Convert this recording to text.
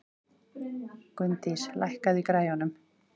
Gunndís, lækkaðu í græjunum.